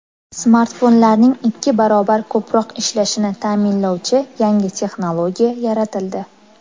Smartfonlarning ikki barobar ko‘proq ishlashini ta’minlovchi yangi texnologiya yaratildi.